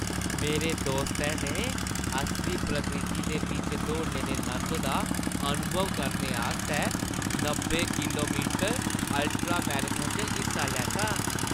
मेरे दोस्तै ने असली प्रकृति दे बिच्च दौड़ने दे नंद दा अनुभव करने आस्तै नब्बै किलो मीटर अल्ट्रा-मैराथन च हिस्सा लैता।